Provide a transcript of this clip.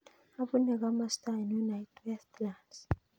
Apune komosta ainon ait westlands